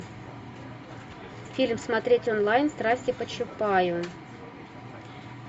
фильм смотреть онлайн страсти по чапаю